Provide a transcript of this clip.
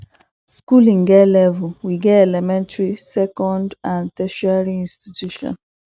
schooling get level we get elementary second and tertiary institution